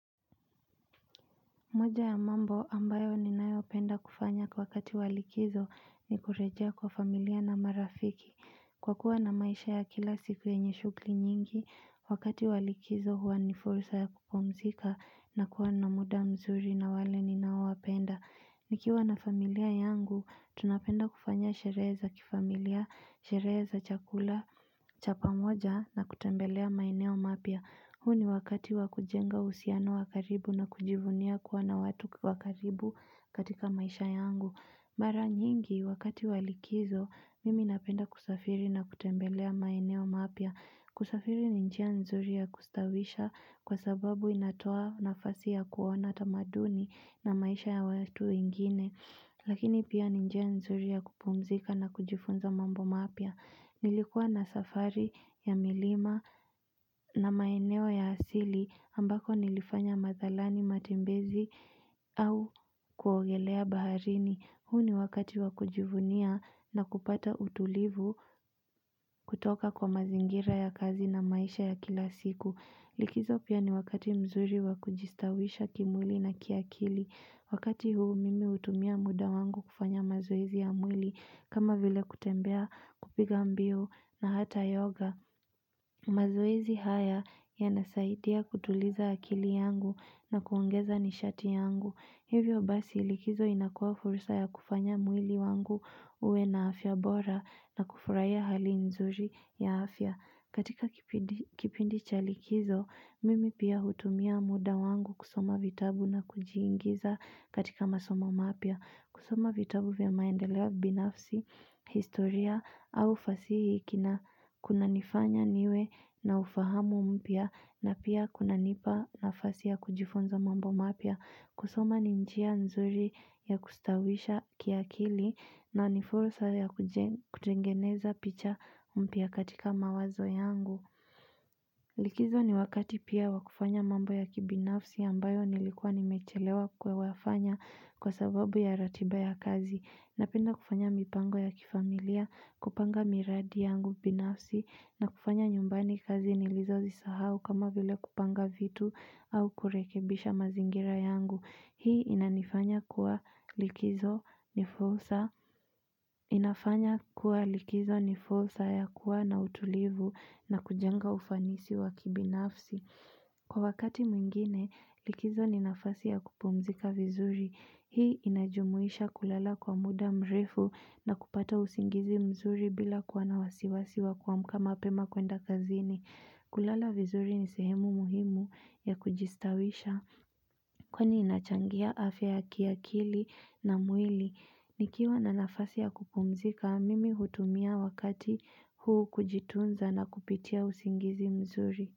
Moja ya mambo ambayo ninayopenda kufanya kwa wakati wa likizo ni kurejea kwa familia na marafiki Kwa kuwa na maisha ya kila siku yenye shughuli nyingi wakati wa likizo huwa ni fursa ya kupumzika na kuwa na muda mzuri na wale ninao wapenda Nikiwa na familia yangu, tunapenda kufanya sherehe za kifamilia, sherehe za chakula, chapamoja na kutembelea maeneo mapya. Hu ni wakati wa kujenga uhusiano wa karibu na kujivunia kuwa na watu wa karibu katika maisha yangu. Mara nyingi, wakati wa likizo, mimi napenda kusafiri na kutembelea maeneo mapya. Kusafiri ni njia nzuri ya kustawisha kwa sababu inatoa nafasi ya kuona tamaduni na maisha ya watu wengine Lakini pia ni njia nzuri ya kupumzika na kujifunza mambo mapya Nilikuwa na safari ya milima na maeneo ya asili ambako nilifanya mazalani matembezi au kuogelea baharini huu ni wakati wa kujivunia na kupata utulivu kutoka kwa mazingira ya kazi na maisha ya kila siku. Likizo pia ni wakati mzuri wa kujistawisha kimwili na kiakili. Wakati huu mimi hutumia muda wangu kufanya mazoezi ya mwili kama vile kutembea kupiga mbio na hata yoga. Mazoezi haya yanasaidia kutuliza akili yangu na kuongeza nishati yangu. Hivyo basi likizo inakuwa fursa ya kufanya mwili wangu uwe na afya bora na kufurahia hali nzuri ya afya. Katika kipindi cha likizo, mimi pia hutumia muda wangu kusoma vitabu na kujiingiza katika masoma mapya. Kusoma vitabu vya maendeleo binafsi, historia, au fasihi kina kunanifanya niwe na ufahamu mpya na pia kunanipa nafasi ya kujifunza mambo mapya. Kusoma ni njia nzuri ya kustawisha kiakili na ni fursa ya kutengeneza picha mpya katika mawazo yangu. Likizo ni wakati pia wa kufanya mambo ya kibinafsi ambayo nilikuwa nimechelewa kuyafanya kwa sababu ya ratiba ya kazi. Napenda kufanya mipango ya kifamilia, kupanga miradi yangu binafsi na kufanya nyumbani kazi nilizozisahau kama vile kupanga vitu au kurekebisha mazingira yangu. Hii inanifanya kuwa likizo ni fursa ya kuwa na utulivu na kujenga ufanisi wa kibinafsi. Kwa wakati mwingine, likizo ni nafasi ya kupumzika vizuri. Hii inajumuisha kulala kwa muda mrefu na kupata usingizi mzuri bila kuwa na wasiwasi wa kuamka mapema kwenda kazini. Kulala vizuri ni sehemu muhimu ya kujistawisha. Kwani inachangia afya ya kiakili na mwili, nikiwa na nafasi ya kupumzika, mimi hutumia wakati huu kujitunza na kupitia usingizi mzuri.